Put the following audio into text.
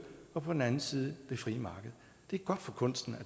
og på den anden side det frie marked det er godt for kunsten